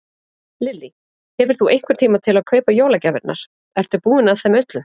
Lillý: Hefur þú einhvern tíma til að kaupa jólagjafirnar, ertu búinn að þeim öllum?